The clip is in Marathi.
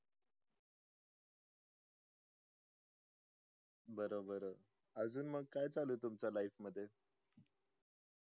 बर बर अजून म काय चालू आहे तुमच्या life मध्ये